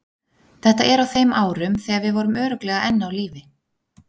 Þetta er á þeim árum þegar við vorum örugglega enn á lífi.